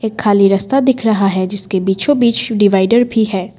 खाली रस्ता दिख रहा है जिसके बीचों बीच डिवाइड भी है।